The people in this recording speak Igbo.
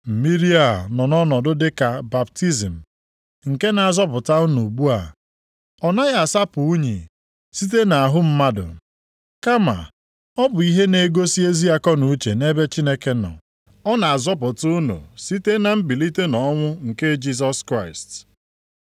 Mmiri a nọ ọnọdụ dị ka baptizim nke na-azọpụta unu ugbu a. Ọ anaghị asapụ unyi site nʼahụ mmadụ, kama ọ bụ ihe na-egosi ezi akọnuche nʼebe Chineke nọ. Ọ na-azọpụta unu site na mbilite nʼọnwụ nke Jisọs Kraịst,